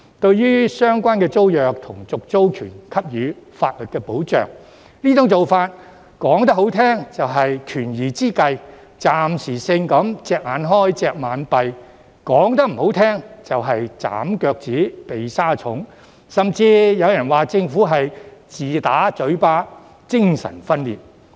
至於為相關租約和續租權提供法律保障的做法，說得好聽一點，是"權宜之計"、暫時性"隻眼開，隻眼閉"，說得不好聽，就是"斬腳趾，避沙蟲"，甚至有人說政府是"自打嘴巴"、"精神分裂"。